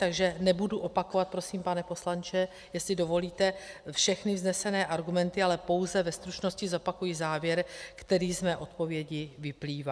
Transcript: Takže nebudu opakovat prosím, pane poslanče, jestli dovolíte, všechny vznesené argumenty, ale pouze ve stručnosti zopakuji závěr, který z mé odpovědi vyplývá.